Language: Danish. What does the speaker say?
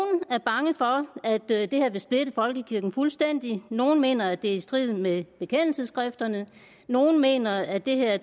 er bange for at det her vil splitte folkekirken fuldstændig nogle mener det er i strid med bekendelsesskrifterne nogle mener at det her er